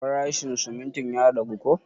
Farashin sumuntin ya ragu ko?